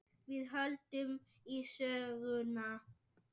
Við höldum í söguna.